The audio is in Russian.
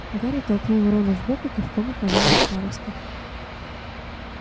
гарри толкнул рона в бок и кивком указал на старосту